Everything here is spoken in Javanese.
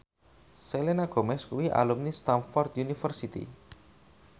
Selena Gomez kuwi alumni Stamford University